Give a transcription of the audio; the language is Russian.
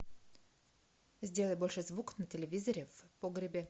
сделай больше звук на телевизоре в погребе